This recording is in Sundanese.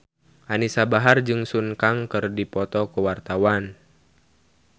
Anisa Bahar jeung Sun Kang keur dipoto ku wartawan